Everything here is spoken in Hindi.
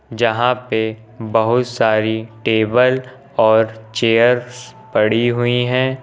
जहां पे बहोत सारी टेबल और चेयर्स पड़ी हुई हैं।